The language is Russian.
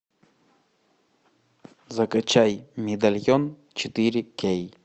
закачай медальон четыре кей